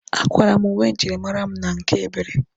A kwara m uwe njirimara mụ na nke Ebere.